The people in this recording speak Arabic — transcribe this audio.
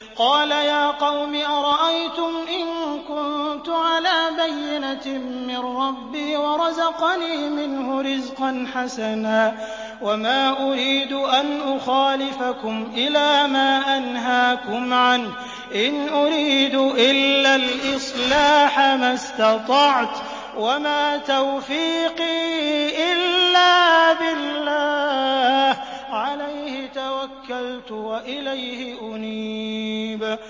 قَالَ يَا قَوْمِ أَرَأَيْتُمْ إِن كُنتُ عَلَىٰ بَيِّنَةٍ مِّن رَّبِّي وَرَزَقَنِي مِنْهُ رِزْقًا حَسَنًا ۚ وَمَا أُرِيدُ أَنْ أُخَالِفَكُمْ إِلَىٰ مَا أَنْهَاكُمْ عَنْهُ ۚ إِنْ أُرِيدُ إِلَّا الْإِصْلَاحَ مَا اسْتَطَعْتُ ۚ وَمَا تَوْفِيقِي إِلَّا بِاللَّهِ ۚ عَلَيْهِ تَوَكَّلْتُ وَإِلَيْهِ أُنِيبُ